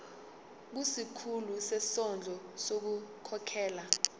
kusikhulu sezondlo ngokukhokhela